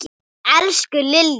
Elsku Lilja.